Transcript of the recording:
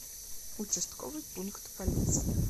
участковый пункт полиции